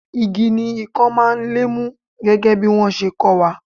Igi ni ikan máa ń lé mú gẹ́gẹ́ bí wọn ṣe kó wa.